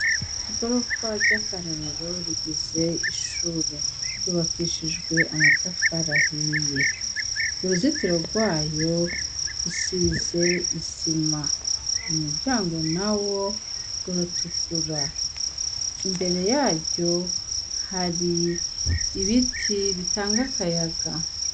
Igorofa ry'akarorero rigize ishure ryubakishijwe amatafa rahiye uruzitiro rwayo usize isima u muryango na wo uratukura imbere yaryo hari ibiti bitanga akayaga.